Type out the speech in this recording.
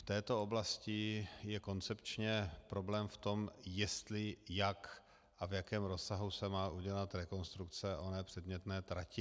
V této oblasti je koncepčně problém v tom, jestli, jak a v jakém rozsahu se má udělat rekonstrukce oné předmětné trati.